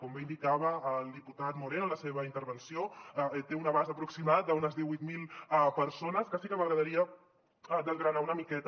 com bé indicava el diputat moreno en la seva intervenció té un abast aproximat d’unes divuit mil persones que sí que m’agradaria desgranar una miqueta